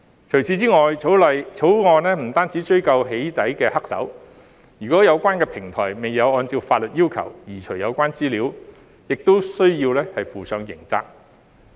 除此以外，《條例草案》不只追究"起底"黑手；如果有關的平台未有按照法律要求移除有關資料，亦需要負上刑責。